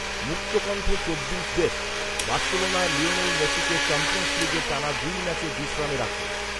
মুক্তকণ্ঠ চব্বিশ desk, Barcelona Lionel মেসিকে Champions লীগে টানা দুই ম্যাচে বিশ্রামে রাখে